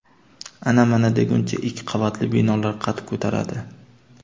Ana-mana deguncha ikki qavatli binolar qad ko‘taradi.